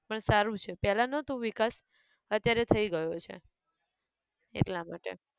પણ સારું છે પહેલા નહતું વિકાસ, અત્યારે થઇ ગયો છે, એટલા માટે